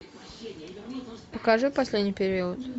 покажи последний период